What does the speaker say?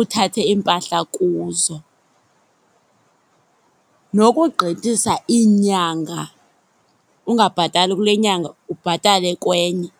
uthathe iimpahla kuzo. Nokugqithisa iinyanga, ungabhatali kule nyanga ubhatale kwenye.